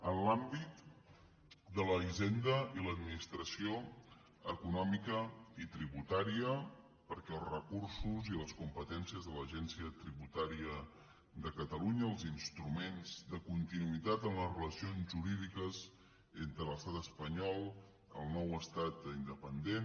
en l’àmbit de la hisenda i l’administració econòmica i tributària perquè els recursos i les competències de l’agència tributària de catalunya els instruments de continuïtat en les relacions jurídiques entre l’estat espanyol i el nou estat independent